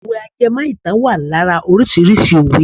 Òwe ajẹmọ́ ìtàn wà lára órísìíríìsí òwe.